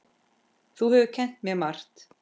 Þú hefur kennt mér margt.